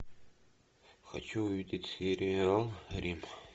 хочу увидеть сериал рим